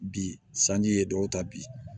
Bi sanji ye dɔw ta bi